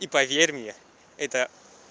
и поверь мне это